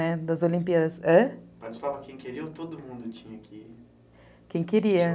né, das olímpiadas. hã? Participava quem queria ou todo mundo tinha que... Quem queria.